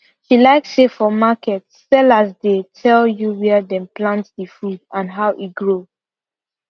she like say for market sellers dey tell you where dem plant the food and how e grow